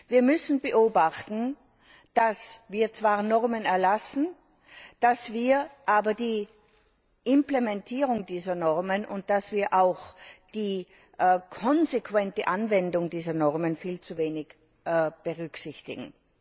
Wir müssen beobachten, dass wir zwar Normen erlassen, dass wir aber die Implementierung dieser Normen und die konsequente Anwendung dieser Normen viel zu wenig berücksichtigen.